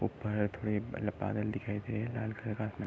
ऊपर --